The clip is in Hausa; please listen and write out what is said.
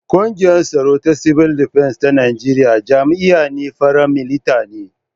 Kungiyar Tsaro ta Cibil Defens ta Najeriya jami'an fara milita ne.